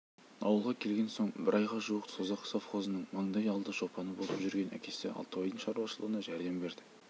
ауылға келген соң бір айға жуық созақ совхозының маңдай алды шопаны болып жүрген әкесі алтыбайдың шаруашылығына жәрдем берді